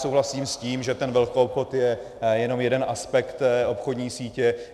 Souhlasím s tím, že ten velkoobchod je jenom jeden aspekt obchodní sítě.